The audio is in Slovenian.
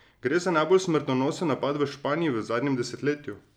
Gre za najbolj smrtonosen napad v Španiji v zadnjem desetletju.